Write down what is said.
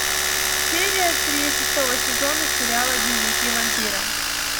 серия три шестого сезона сериала дневники вампира